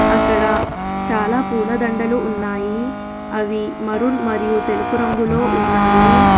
అక్కడ చాలా పూలదండలు ఉన్నాయి అవి మరూన్ మరియు తెలుపు రంగులో ఉన్నాయి.